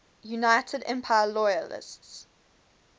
united empire loyalists